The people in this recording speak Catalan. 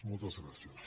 moltes gràcies